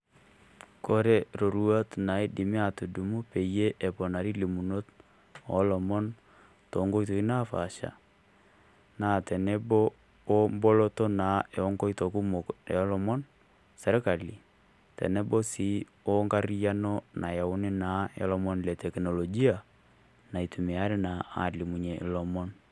Kore iroruat naidimie aatudumu peyie eponari ilimunot oo lomon too Nkoitoi napaasha naa tenebo naa eboloto oo nkoitoi kumok oolomon serkali otenebo naa engarriyiano nayauni aalimilunyie olomoni leteknolojia nayauni naa aalimunyie ilomon.